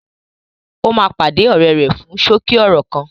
Ó máa pàdé ọ̀rẹ́ rẹ fún ṣókí ọ̀rọ̀ kan